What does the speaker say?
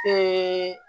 Ɛɛ